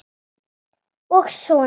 Og á soninn.